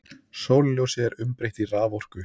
Sólarljósi er umbreytt í raforku.